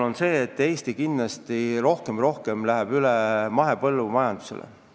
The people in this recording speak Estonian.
Samas, Eesti läheb kindlasti aina rohkem üle mahepõllumajandusele.